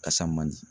Kasa man di